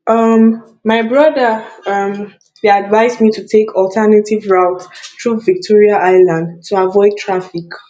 um my brother um dey advise me to take alternative route through victoria island to avoid traffic